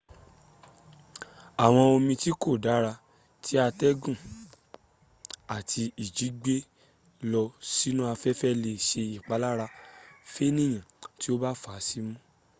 àwọn omi tí kò dára tí atẹ́gùn àti ìjì ti gbé lọ sínu afẹ́fẹ́ lè ṣe ìpalára fénìyàn tí ó bá fà á símú